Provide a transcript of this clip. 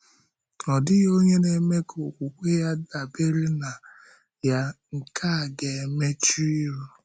“Ọ̀ dịghị onye na-eme ka okwukwe ya dabere na ya nke a ga-emechụ ihu.”